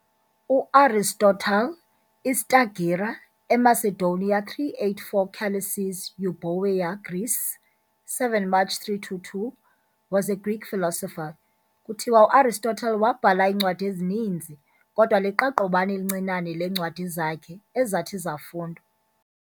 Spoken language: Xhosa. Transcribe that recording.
U-Aristotle, iStagira, eMacedonia, 384 - Chalicis, Euboea, Greece, 7 March 322, was a Greek philosopher. Kuthiwa uAristotle waabhala iincwadi ezininzi, kodwa liqaqobana elincinane leencwadi zakhe ezathi zafundwe.